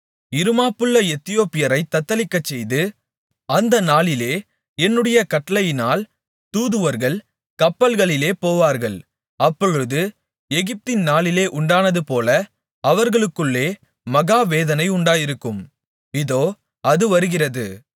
இருமாப்புள்ள எத்தியோப்பியரைத் தத்தளிக்கச்செய்து அந்த நாளிலே என்னுடைய கட்டளையினால் தூதுவர்கள் கப்பல்களிலே போவார்கள் அப்பொழுது எகிப்தின் நாளிலே உண்டானதுபோல அவர்களுக்குள்ளே மகா வேதனை உண்டாயிருக்கும் இதோ அது வருகிறது